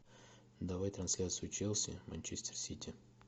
давай трансляцию челси манчестер сити